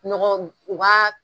Ɲɔgɔn, u b'a